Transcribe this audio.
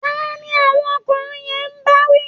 Taá ni àwọn ọkùnrin yẹn ń bá wí?